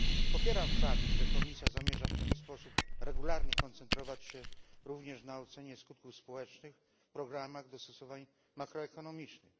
Popieram fakt, że Komisja zamierza w ten sposób regularnie koncentrować się również na ocenie skutków społecznych w programach dostosowań makroekonomicznych.